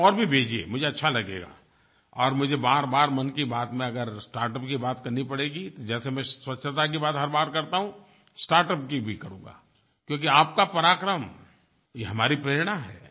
आप और भी भेजिए मुझे अच्छा लगेगा और मुझे बारबार मन की बात में अगर स्टार्टअप की बात करनी पड़ेगी जैसे मैं स्वच्छता की बात हर बार करता हूँ स्टार्टअप की भी करूँगा क्योंकि आपका पराक्रम ये हमारी प्रेरणा है